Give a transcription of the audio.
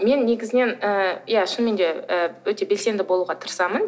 мен негізінен ы иә шынымен де ы өте белсенді болуға тырысамын